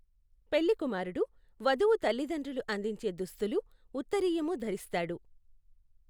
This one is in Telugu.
పెళ్లికుమారుడు వధువు తల్లిదండ్రులు అందించే దుస్తులు, ఉత్తరీయము ధరిస్తాడు.